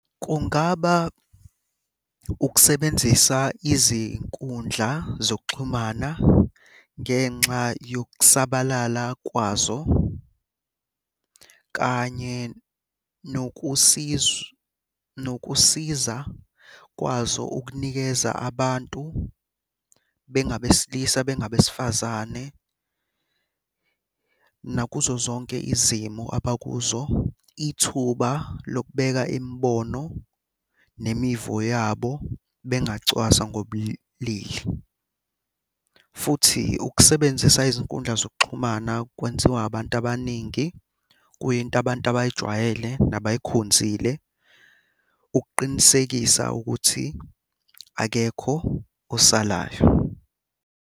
Kungaba ukusebenzisa izinkundla zokuxhumana ngenxa yokusabalala kwazo, kanye nokusiza kwazo ukunikeza abantu bengabesilisa bengabesifazane. Nakuzo zonke izimo abakuzo, ithuba lokubeka imibono nemivo yabo bengacwaswa ngobulili, futhi ukusebenzisa izinkundla zokuxhumana kwenziwa abantu abaningi. Kuyinto abantu abayijwayele nabayikhonzile ukuqinisekisa ukuthi akekho osalayo.